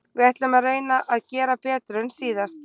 Við ætlum að reyna að gera betur en síðast.